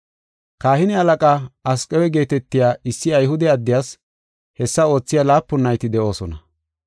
Kahine halaqaa Asqewa geetetiya issi Ayhude addiyas hessa oothiya laapun nayti de7oosona.